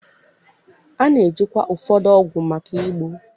A na-ejikwa ụfọdụ ọgụ maka igbo.